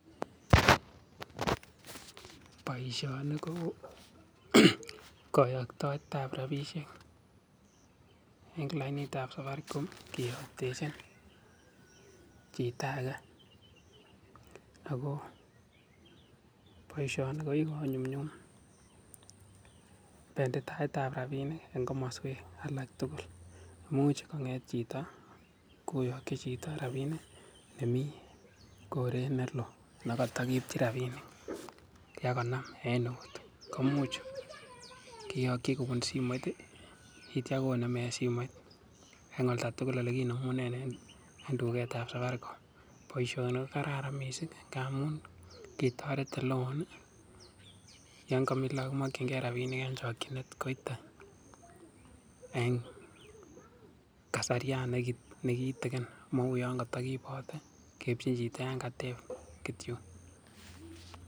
Boision i ko kayaktoetab rapishiek eng lainitab Safaricom kiyoktechin chito ake ako boisioni ko kikonyumnyum benditoetab rapinik eng komaswek alak tugul, much konget chito koyakchi chito rapinik nemi koret neloo nekatakiipchin rapinik en eut komuch kiyokchi kobun simoit nityo konem eng simoit eng oldo tugul nekinemunen eng duketab Safaricom. Boisioni ko kararan mising ngamun kitoret oleoon yon kamii laook komakchinkei rapinik eng chokchinet koiteeng kasariat nekitigin mou yon katakiipoten kepchechin chito kityo.